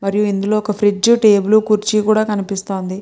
మరియు ఇందులో ఒక ఫ్రిడ్జ్ టేబుల్ కుర్చీకూడా కనిపిస్తుంది.